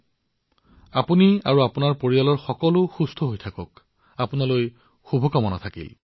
আপুনি সুস্বাস্থ্যবান হৈ থাকক আপোনাৰ পৰিয়ালৰ লোক স্বাস্থ্যৱান হৈ থাকক আপোনালৈ মোৰ তৰফৰ পৰা অশেষ শুভকামনা থাকিল